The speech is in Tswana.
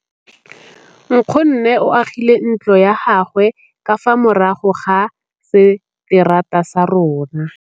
Nkgonne o agile ntlo ya gagwe ka fa morago ga seterata sa rona.